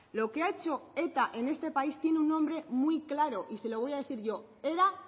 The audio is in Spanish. lo que ha hecho eta en este país tiene un nombre muy claro y se lo voy a decir yo era